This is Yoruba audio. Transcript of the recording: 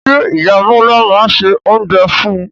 Ṣé ìyá Bọlá máa ń se oúnjẹ fún un?